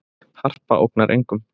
Harpa ógnar engum